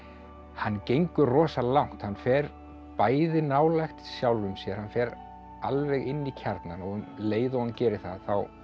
hann gengur rosa langt hann fer bæði nálægt sjálfum sér hann fer alveg inn í kjarnann og um leið og hann gerir það